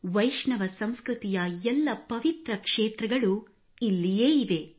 ವೈಷ್ಣವ ಸಂಸ್ಕೃತಿಯ ಎಲ್ಲ ಪವಿತ್ರ ಕ್ಷೇತ್ರಗಳೂ ಇಲ್ಲಿಯೇ ಇವೆ